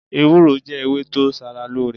Ewúró jẹ́ ewé tó ṣaralóore.